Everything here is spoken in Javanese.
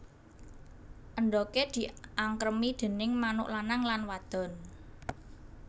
Endhoge diangkremi déning manuk lanang lan wadon